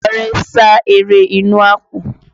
Ọrẹ sá eré inú àpò